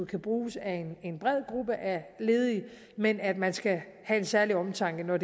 kan bruges af en bred gruppe ledige men at man skal have en særlig omtanke når